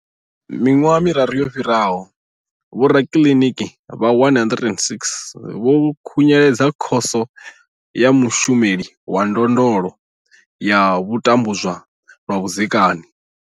Miṅwaha miraru yo fhiraho, vhorakiliniki vha 106 vho khunyeledza Khoso ya Mushumeli wa Ndondolo ya vho tambudzwaho lwa vhudzekani.